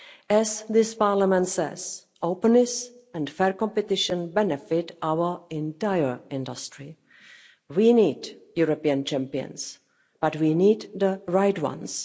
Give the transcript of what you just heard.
As this Parliament says, openness and fair competition benefit our entire industry. We need European champions, but we need the right